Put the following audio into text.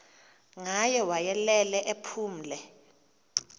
ngaye wayelele ephumle